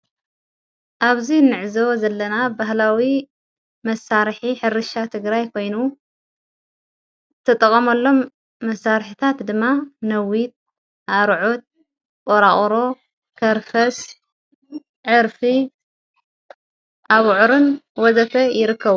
ኣብዙይ ንዕዘቦ ዘለና ባህላዊ መሣርሒ ሕርሻ ትግራይ ኣይኮይኑ ተጠቐመሎም መሣርሕታት ድማ ነዊት ኣርዑት ኦራኦሮ ከርፈስ ዕርፊ ኣብዑርን ወዘተ ይርከቡ።